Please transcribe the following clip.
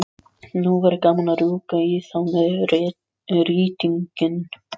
Nú væri gaman að rjúka í þá með rýtinginn.